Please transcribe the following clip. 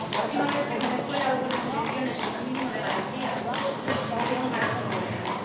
La última vez que en Venezuela hubo unas elecciones con un mínimo de garantías la oposición ganó por goleada.